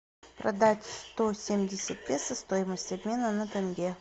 продать сто семьдесят песо стоимость обмена на тенге